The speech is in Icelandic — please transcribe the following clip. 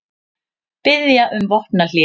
Biðja um vopnahlé